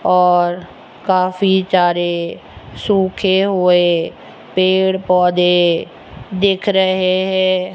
और काफी सारे सूखे हुए पेड़ पौधे दिख रहे हैं।